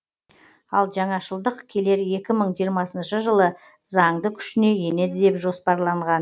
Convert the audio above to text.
ал жаңашылдық келер екі мың жиырмасыншы жылы заңды күшіне енеді деп жоспарланған